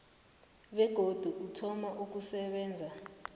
begodu uthoma ukusebenza